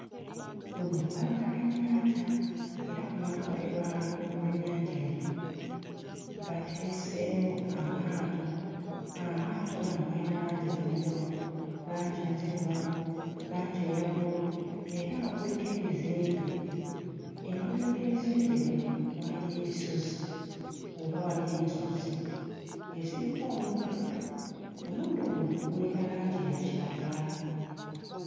Luno lubalama lw'ennyanja era ku mabbali lwago lw'ennyanja eno bateeseewo amaato. Amaato gano gayina langi ez'enjawulo; langi enzirugavu, langi eya bbululu era nga kuliko ebizimbe. Emabega w'ebizimbe bino waliyo ebisozi oba waliyo ensozi eziriko omuddoddo. Omuddo guno guyina langi ya kiragala.